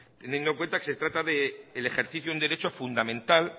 teniendo en cuenta de que se trata de el ejercicio en derecho fundamental